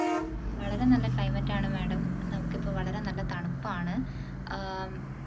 വളരെ നല്ല climate ആണ് madam നമുക്കിപ്പോൾ വളരെ നല്ല തണുപ്പാണ് ആഹ്